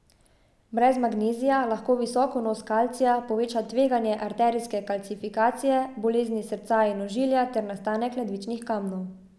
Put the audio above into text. Brez magnezija lahko visok vnos kalcija poveča tveganje arterijske kalcifikacije, bolezni srca in ožilja ter nastanek ledvičnih kamnov.